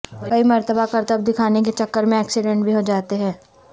کئی مرتبہ کرتب دکھانے کے چکر میں ایکسیڈنٹ بھی ہو جاتے ہیں